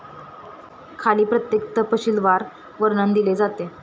खाली प्रत्येक तपशीलवार वर्णन दिले जाते.